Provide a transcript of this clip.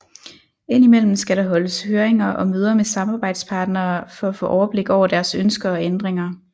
Indimellem skal der holdes høringer og møder med samarbejdspartnere for at få overblik over deres ønsker og ændringer